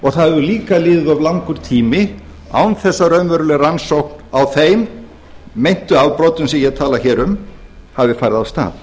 það hefur líka liðið of langur tími án þess að raunveruleg rannsókn á þeim meintu afbrotum sem ég tala hér um hafi farið af stað